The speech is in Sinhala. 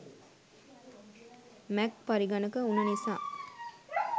මැක් පරිගනක උන නිසා